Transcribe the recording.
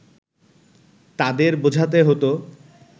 তাদের বোঝাতে হতো